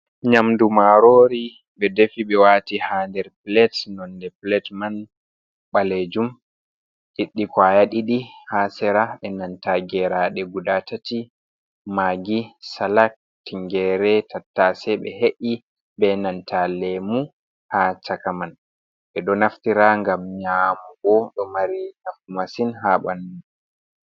Nyamdu marori ɓe defi ɓe wati ha der plate nonde plat man ɓalejum liɗɗi kwaya ɗiɗi ha sera be nanta geraɗe guda tati magi, salak, tingere, tattase ɓe he’i be nanta lemu ha chaka man ɓeɗo naftira ngam nyamugo ɗo mari naftu massin ha ɓandu.